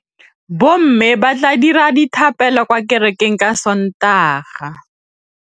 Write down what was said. Bommê ba tla dira dithapêlô kwa kerekeng ka Sontaga.